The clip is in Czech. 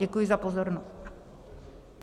Děkuji za pozornost.